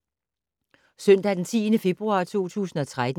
Søndag d. 10. februar 2013